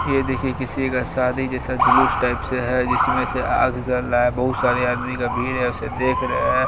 ये देखिये किसी का साधी जेसा झूलुस टाईप से है जिसमे से आग जल रहा है बहुत सारे आदमी का भीड़ इसे देख रहे है।